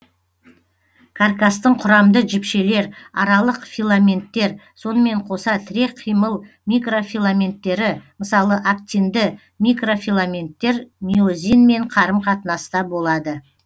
каркастың құрамды жіпшелер аралық филаменттер сонымен қоса тірек қимыл микрофиламенттері мысалы актинді микрофиламенттер миозинмен қарым қатынаста болады